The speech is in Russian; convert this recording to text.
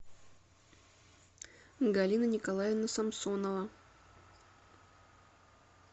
галина николаевна самсонова